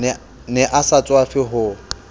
ne a sa tswafe ho